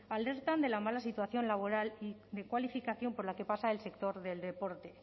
alertan de la mala situación laboral de cualificación por la que pasa el sector del deporte